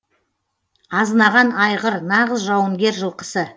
азынаған айғыр нағыз жауынгер жылқысы